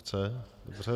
Chce, dobře.